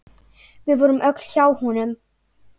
Við vorum öll hjá honum.